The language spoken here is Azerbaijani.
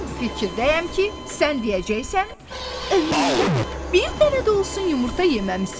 Mən bu fikirdəyəm ki, sən deyəcəksən, ömründə bir dənə də olsun yumurta yeməmisən.